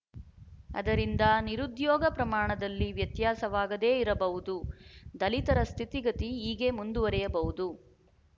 ಅದರಿಂದ ನಿರುದ್ಯೋಗ ಪ್ರಮಾಣದಲ್ಲಿ ವ್ಯತ್ಯಾಸವಾಗದೆ ಇರಬಹುದು ದಲಿತರ ಸ್ಥಿತಿಗತಿ ಹೀಗೆ ಮುಂದುವರಿಯಬಹುದು